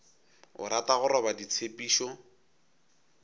o rata go roba ditshepišo